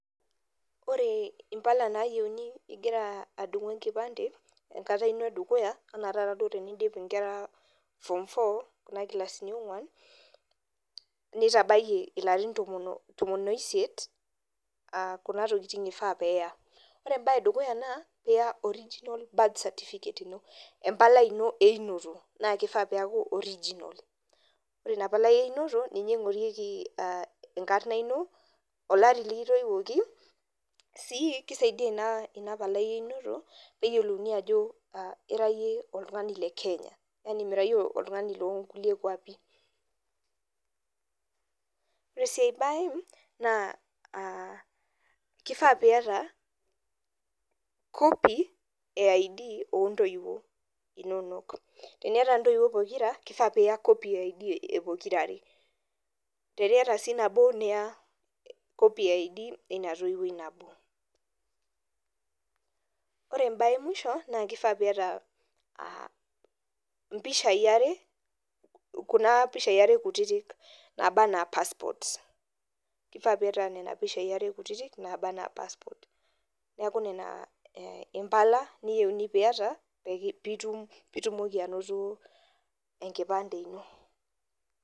koree impala nayieuni inkera adungu' enkipande enkata ino edukuya ena tee niidip inkera form four kuna kilaasiini eee unguan neitabaiki ilarin tomoon oisiet. kuna tokitingg ifaa peeya koree mbaaa ee dukuya naa iyaa original birth certificate ino empalai inoo eunoto kifaaa pee yie eyakuu original naa ninye ingorieki enkarna ino, olari lee kitoiwoki sii kisaidia inapalai eunoto peedooli ajo ira yie oltung'ani le kenya yaani miraa iyie oltungani loo nkulie kuapi koree sii aii baee kifaa pii yata copy of id ooo ntoiwuo inonok pookiiira teniata ntoiwuo inonok pookira kifaaa piiya kopiii enye pookira teniata sii nabo niyaaa kopii ina nabooo koreee ebae emushoo kifaaa piii yata mpishai are kutitik niaku nena mbaaa nifaaa piyata piiya enkipande ino.